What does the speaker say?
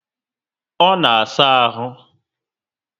Ọ na saa ahụ